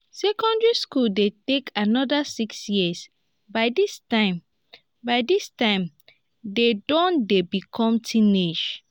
secondary school de take another six years by dis time by dis time dem don de become teenage